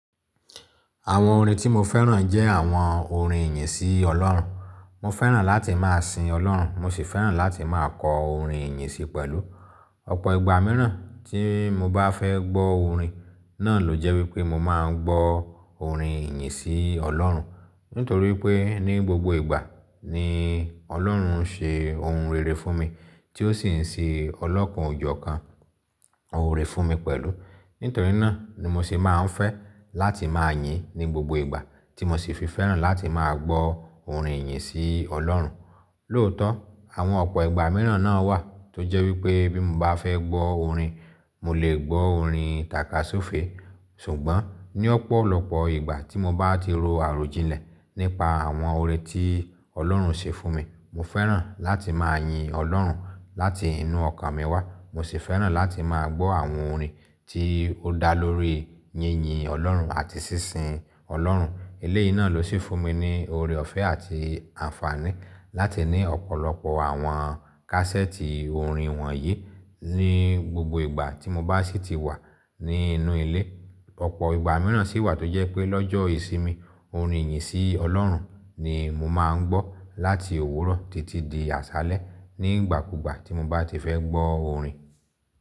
Àwon orin tí mo féràn jẹ́ àwon orin ìyìn sí Ọlọ́run. Mo féràn láti máa sin Ọlọ́run, mo sì féràn láti máa kọ orin ìyìn sí i pẹ̀lú. Ọ̀pọ̀ ìgbà mìíràn tí mo bá fẹ́ gbọ́ orin, náà ló jẹ́ wípé mo máa ń gbọ́ orin ìyìn sí Ọlọ́run. Nítorí pé ní gbogbo ìgbà ni Ọlọ́run ń ṣe ohun rere fún mi tí ó sì ń ṣe ọlọ́kàn òjọ́ kan oore fún mi pẹ̀lú. Nítorí náà ni mo sì máa ń fẹ́ láti máa yìn ní gbogbo ìgbà tí mo sì fi féràn láti máa gbọ́ orin ìyìn sí Ọlọ́run. Lóòótọ́, àwọn ọ̀pọ̀ ìgbà mìíràn náà wà tó jẹ́ wípé bí mo bá fẹ́ gbọ́ orin, mo lè gbọ́ orin tàka sófe. Ṣùgbọ́n ní ọ̀pọ̀lọpọ̀ ìgbà tí mo bá ti ro àròjinlẹ̀ nípa àwọn oore tí Ọlọ́run ṣe fún mi, mo féràn láti máa yin Ọlọ́run láti inú ọkàn mi wá, mo sì féràn láti máa gbọ́ àwọn orin tí ó dá lórí yínyìn Ọlọ́run àti sísin Ọlọ́run. Eléyìí náà ló sì fún mi ní oore ọ̀fẹ́ àti àǹfààní láti ní ọ̀pọ̀lọpọ̀ àwọn kásẹ́ẹ̀tì orin wọ̀nyí. Ní gbogbo ìgbà tí mo bá sì ti wà ní inú ilé, ọ̀pọ̀ ìgbà mìíràn sì wà tó jẹ́ pé lọ́jọ́ ìsinmi, orin ìyìn sí Ọlọ́run ni mo máa ń gbọ́ láti òwúrọ̀ títí di àṣálẹ́ ní ìgbàkúgbà tí mo bá ti fẹ́ gbọ́ orin.